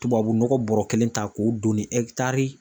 Tubabu nɔgɔ bɔrɔ kelen ta k'o don ni